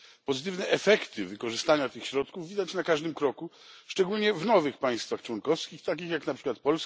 Pozytywne efekty wykorzystania tych środków widać na każdym kroku, szczególnie w nowych państwach członkowskich, takich jak np.